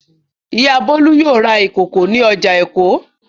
Ìyá Bólú yóò ra ìkòkò ní ọjà Èkó.